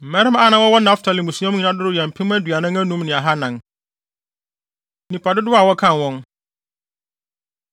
Mmarima a na wɔwɔ Naftali mmusua nyinaa mu no dodow yɛ mpem aduanan anum ne ahannan (45,400). Nnipa Dodow A Wɔkan Wɔn